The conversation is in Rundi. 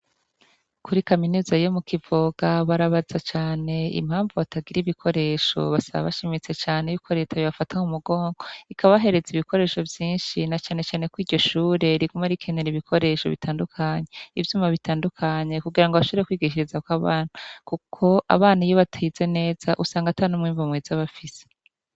Kuri kaminuza yo mu Kivoga , barabaza cane, impamvu batagir’ibikoresho, basaba bashimitse cane yuko Leta yobafata mumugongo, ikabahereza ibikoresho vyinshi na cane cane kw’iryo shure riguma rikenera ibikoresho bitandukanye ivyuma bitandukanye kugirango bashobore kwigishirizakw’abana kubera kuko abana iyo batize neza usangatan’umwimbu mwiza bafise.